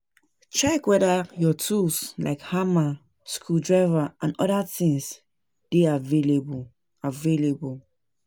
Check weda your tools like hammer, screw driver and oda things dey available